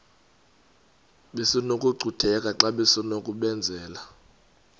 besinokucutheka xa besinokubenzela